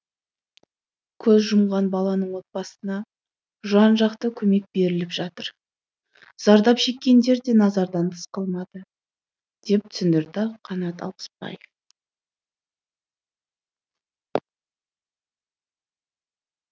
көз жұмған баланың отбасына жан жақты көмек беріліп жатыр зардап шеккендерде назардан тыс қалмады деп түсіндірді қанат алпысбаев